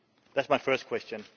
That is my first question.